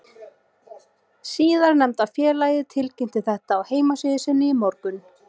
Síðarnefnda félagið tilkynnti þetta á heimasíðu sinni í morgun.